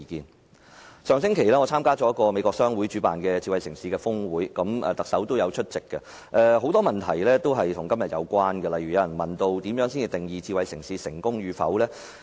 我在上星期參加了由美國商會主辦的智慧城市峰會，特首也有出席，台下的很多問題均與今天的議題有關，例如有人問如何定義發展智慧城市成功與否？